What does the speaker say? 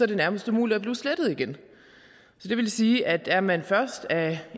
det nærmest umuligt at blive slettet igen det vil sige at er man først af